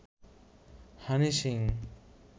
Honey Singh